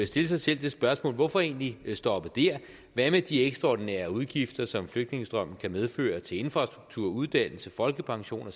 stille sig selv det spørgsmål hvorfor egentlig stoppe der hvad med de ekstraordinære udgifter som flygtningestrømmene kan medføre til infrastruktur uddannelse folkepension